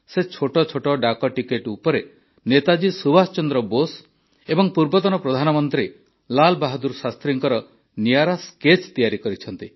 ସେ ଛୋଟ ଛୋଟ ଡାକଟିକେଟ ଉପରେ ନେତାଜୀ ସୁଭାଷ ଚନ୍ଦ୍ର ବୋଷ ଏବଂ ପୂର୍ବତନ ପ୍ରଧାନମନ୍ତ୍ରୀ ଲାଲ ବାହାଦୂର ଶାସ୍ତ୍ରୀଙ୍କର ନିଆରା ସ୍କେଚ୍ ତିଆରି କରିଛନ୍ତି